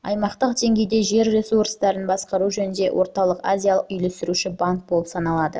аймақтық деңгейде жер ресурстарын басқару жөніндегі орталық-азия үйлестіруші банк болып саналады